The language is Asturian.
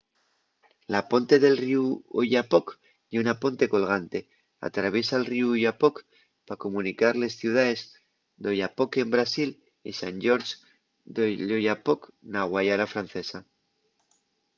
la ponte del ríu oyapock ye una ponte colgante. atraviesa’l ríu oyapock pa comunicar les ciudaes d’oiapoque en brasil y saint-georges de l’oyapock na guayana francesa